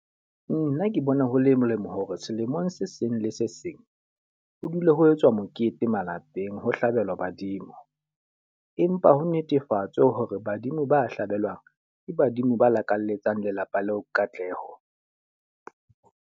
Nna ke bona ho le molemo hore selemong se seng le se seng ho dule ho etswa mokete malapeng ho hlabelwa badimo. Empa ho netefatswe hore badimo ba hlahelwang, ke badimo ba lakalletsa lelapa leo katleho.